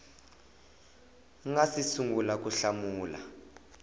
nga si sungula ku hlamula